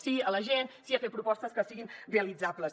sí a la gent sí a fer propostes que siguin realitzables